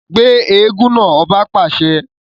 Gbe eégún náà! ọba pàṣẹ